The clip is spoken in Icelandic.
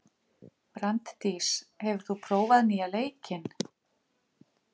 Branddís, hefur þú prófað nýja leikinn?